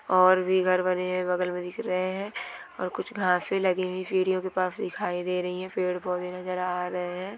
और भी घर बने हुए बगल में दिख रहे है और कुछ घांसे लगी सीढ़ियों के पास दिखाई दे रहे है पेड़-पौधे नजर आ रहे है।